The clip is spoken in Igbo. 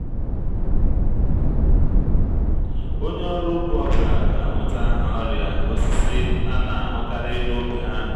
onye ọrụ ugbo ọ bụla ga-amụta aha ọrịa osisi a na-ahụkarị n’ógbè ha